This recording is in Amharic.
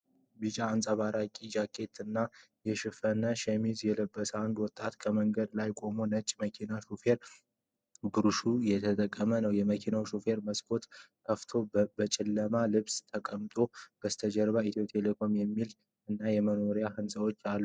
ቢጫ አንጸባራቂ ጃኬት እና የተሸፈነ ሸሚዝ የለበሰ አንድ ሰው ከመንገድ ላይ ቆሞ ለነጭ መኪና ሾፌር ብሮሹር እየሰጠ ነው። የመኪናው ሾፌር መስኮቱን ከፍቶ በጨለመ ልብስ ተቀምጧል። ከበስተጀርባ የ"ethio telecom" ምልክት እና የመኖሪያ ሕንፃዎችአሉ።